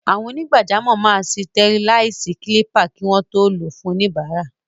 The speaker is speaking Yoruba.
Àwọn onígbàjamọ̀ máa sitẹriláìsì kílípà kí wọ́n tó lò ó fún oníbàárà.